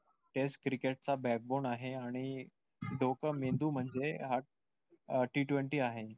test cricket चा back bone आहे आणि डोकं मेंदू म्हणजे हा t twenty आहे.